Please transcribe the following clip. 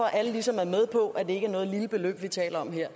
at alle ligesom er med på at det ikke er noget lille beløb vi taler om her